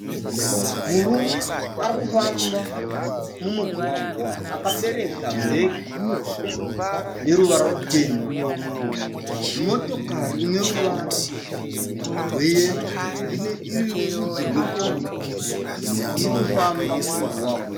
Murume arikufamba mumugwagwa. Akabereka bhegi rine ruvara rutema. Motokari ine ruvara rweyero iri yerudzi rwekombi irikufamba mumugwagwa.